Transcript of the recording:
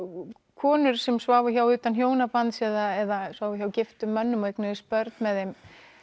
konur sem sváfu hjá utan hjónabands eða sváfu hjá giftum mönnum og eignuðust börn með þeim